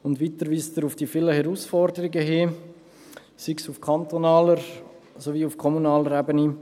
Weiter weist er auf die vielen Herausforderungen hin, sei es auf kantonaler, sei es auf kommunaler Ebene.